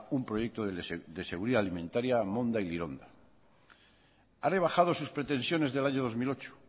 un proyecto de seguridad alimentaria monda y lironda ha rebajado sus pretensiones del año dos mil ocho